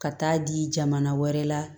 Ka taa di jamana wɛrɛ la